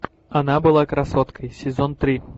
она была красоткой сезон три